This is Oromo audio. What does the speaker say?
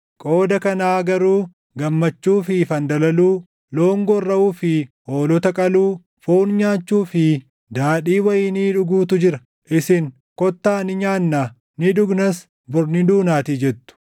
Qooda kanaa garuu gammachuu fi fandalaluu, loon gorraʼuu fi hoolota qaluu, foon nyaachuu fi daadhii wayinii dhuguutu jira! Isin, “Kottaa ni nyaannaa; ni dhugnas; bor ni duunaatii!” jettu.